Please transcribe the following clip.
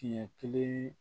Tiɲɛ kelen